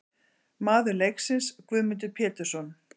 Maður leiksins: Guðmundur Pétursson.